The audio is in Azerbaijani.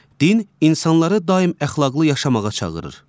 Din insanları daim əxlaqlı yaşamağa çağırır.